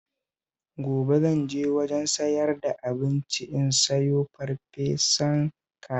Gobe zan je wajen sayar da abinci in sayo farfesan kaza